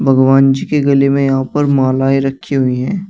भगवान जी की गले में यहां पर मालाएं रखी हुई हैं।